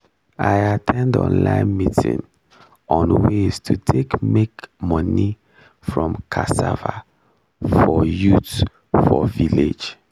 i at ten d online meeting on ways to take make money from cassava for youth for village